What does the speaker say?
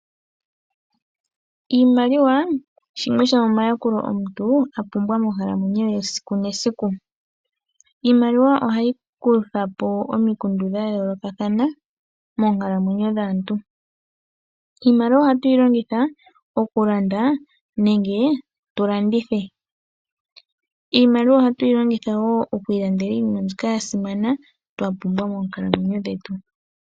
Iimaliwa osho shimwe shomomayakulo omuntu a pumbwa monkalamwenyo ye esiku nesiku. Iimaliwa ohayi kutha po omikundu dha yoolokathana moonkalamwenyo dhaantu. Iimaliwa ohatu yi longitha okulanda nenge tu landithe. Iimaliwa ohatu yi longitha wo oku ilandela iinima mbyoka ya simana twa pumbwa moonkalamweyo dhetu.